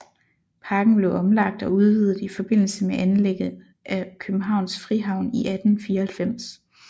Parken blev omlagt og udvidet i forbindelse med anlægget af Københavns Frihavn i 1894